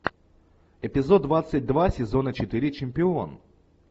эпизод двадцать два сезона четыре чемпион